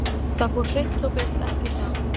Það fór hreint og beint ekki saman.